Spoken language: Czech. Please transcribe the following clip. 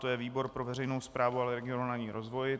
To je výbor pro veřejnou správu a regionální rozvoj.